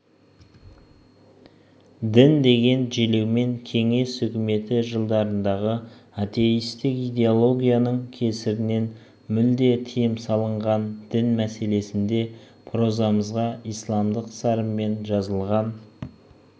дін деген желеумен кеңес үкіметі жылдарындағы атеистік идеологияның кесірінен мүлде тиым салынған дін мәселесінде прозамызға исламдық сарынмен жазылған